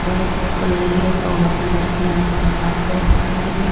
थोड़ो सो नीलो धोलो कलर की इया बा छात टाइप बनायोडी है।